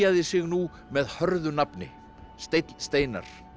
sig nú með hörðu nafni Steinn Steinarr